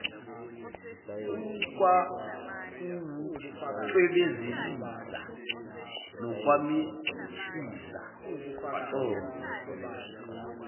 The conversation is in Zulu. ukwakuwucwebezelisa nokwamehlisa waconsa